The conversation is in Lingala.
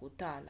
kotala